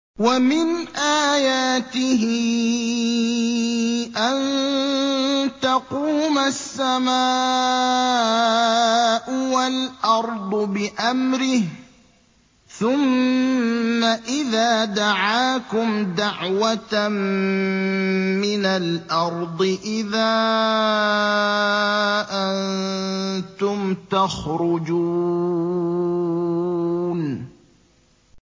وَمِنْ آيَاتِهِ أَن تَقُومَ السَّمَاءُ وَالْأَرْضُ بِأَمْرِهِ ۚ ثُمَّ إِذَا دَعَاكُمْ دَعْوَةً مِّنَ الْأَرْضِ إِذَا أَنتُمْ تَخْرُجُونَ